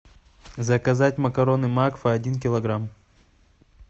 заказать макароны макфа один килограмм